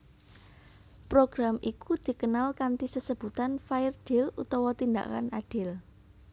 Program iku dikenal kanthi sesebutan Fair Deal utawa Tindakan Adil